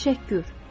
Təşəkkür,